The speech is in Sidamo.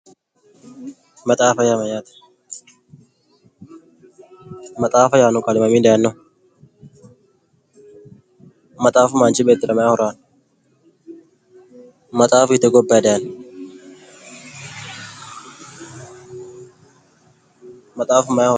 maxaafa yaa mayyaate maxaafa yaanno qaali mamii dayinoho? maxaafu manchi beettira mayi horo aanno? maxaafu hiitte gobbayi dayino? maxaafu mayi horo aanno?